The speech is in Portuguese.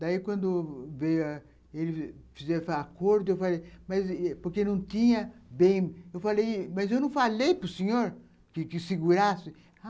Daí, quando veio, ele fez o acordo, eu falei... mas porque não tinha bem... Eu falei, mas eu não falei para o senhor que que segurasse.